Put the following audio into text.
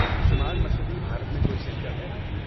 شمال مشرقی بھارت میں کوئی سنٹر ہے؟